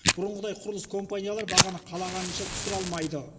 бұрынғыдай құрылыс компаниялары бағаны қалағанынша түсіре алмайды